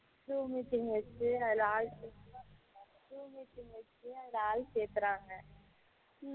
zoom meeting வச்சி அதுல ஆள் செக்குறாங்க